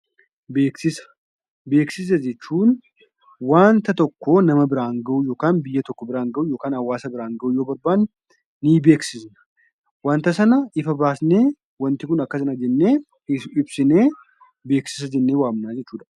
Beeksisa Beeksisa jechuun waanta tokko nama biraan ga'uu yookaan biyya tokko biraan ga'uu yookaan hawaasa biraan ga'uu yoo barbaanne ni beeksisna. Wanta sana if baasnee wanti kun akka sana jennee ibsinee beeksisa jennee waamna jechuu dha.